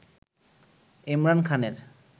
এমরান খানের